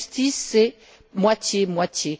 La justice, c'est moitié moitié.